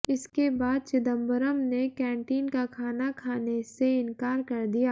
इसके बाद चिदंबरम ने कैंटिन का खाना खाने से इनकार कर दिया